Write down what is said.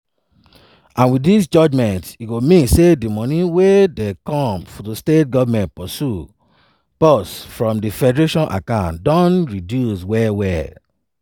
and wit dis judgement e go mean say di money wey dey come to state government purse from di federation account don reduce well well.